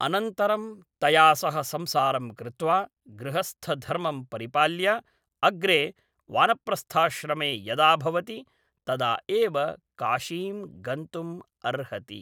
अनन्तरं तया सह संसारं कृत्वा गृहस्थधर्मं परिपाल्य अग्रे वानप्रस्थाश्रमे यदा भवति तदा एव काशीं गन्तुम् अर्हति